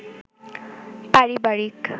পারিবারিক